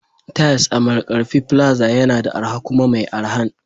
Tiles a Markarfi plaza yana da arha kuma mai araha